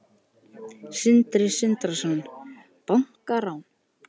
Sindri Sindrason: Bankarán?